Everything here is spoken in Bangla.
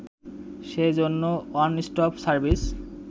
সে জন্য ওয়ানস্টপ সার্ভিস